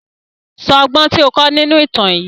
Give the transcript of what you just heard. Sọ ọgbọ́n tí ó kọ́ nínú ìtàn yìí!